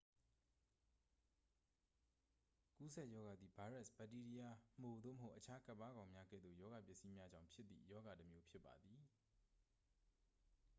ကူးစက်ရောဂါသည် ဗိုင်းရပ်စ် ဘက်တီးရီးယား မှို သို့မဟုတ် အခြား ကပ်ပါးကောင်းများ ကဲ့သို့ ရောဂါပစ္စည်းများကြောင့် ဖြစ်သည့် ရောဂါတစ်မျိုး ဖြစ်ပါသည်